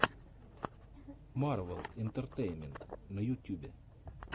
марвел интертеймент на ютюбе